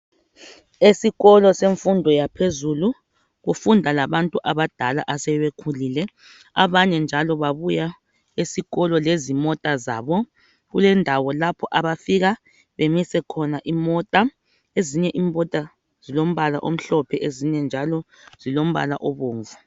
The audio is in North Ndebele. Esikolo semfundo yaphezulu kufunda labantu abadala asebekhulile abanye njalo babuya esikolo lezimota zabo kulendawo lapho abafika bemise khona imota, ezinye imota zilombala omhlophe ezinye njalo zilombala obomvu